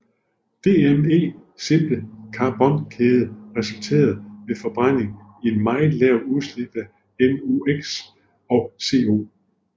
DME simple carbonkæde resulterer ved forbrænding i meget lave udslip af NOx og CO